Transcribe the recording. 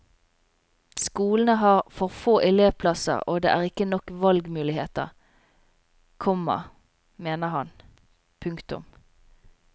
Skolene har for få elevplasser og det er ikke nok valgmuligheter, komma mener han. punktum